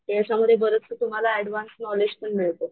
त्याच्या मध्ये बरचस तुम्हाला ऍडव्हान्स नॉलेज पण मिळत.